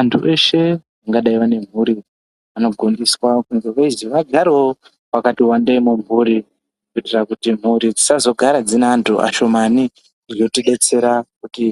Antu eshe angadai vane mhuri vanogondiswa kunge veizi vagarewo vakati wandei mumhuri kuitira mhuri dzisazogara dzine anhu ashomani zvinotidetsera kuti